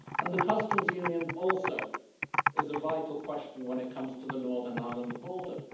The Customs Union also is a vital question when it comes to the Northern Ireland border.